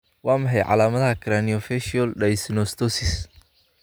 Waa maxay calaamadaha iyo calaamadaha Craniofacial dyssynostosis?